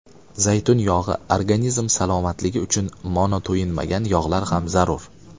Zaytun yog‘i Organizm salomatligi uchun monoto‘yinmagan yog‘lar ham zarur.